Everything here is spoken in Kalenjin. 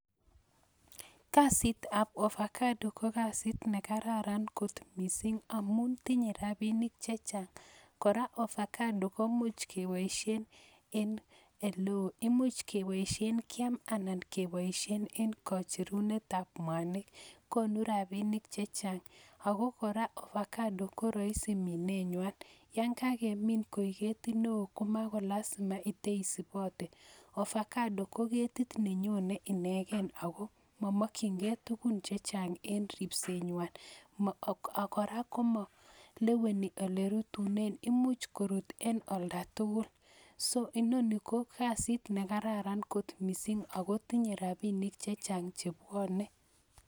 Kasitab ovacado KO kasit nekararan kot missing amun tinye rabinik chechang, kora avocado komuch keboishien eng ele oweo, much keboishien kiam anan keboishieneng kocherunetab mwanik, konuu rabinik chechang, ak kora ovacado koroisi minenywan, yon kakemin koik ketit neo komalazima iteisibote, Ovacado KO ketit neyone inegen akoo momokchi ge tugun chechang eng ripsenywan. Kora komoleweni olerutunen much koruut en oltatugul so inoni ko kasit nekararan lot missing ako tinye rabinik chechang chebwone